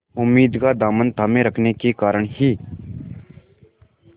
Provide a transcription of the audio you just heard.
उम्मीद का दामन थामे रखने के कारण ही